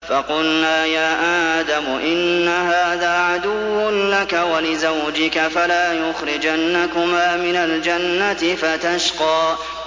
فَقُلْنَا يَا آدَمُ إِنَّ هَٰذَا عَدُوٌّ لَّكَ وَلِزَوْجِكَ فَلَا يُخْرِجَنَّكُمَا مِنَ الْجَنَّةِ فَتَشْقَىٰ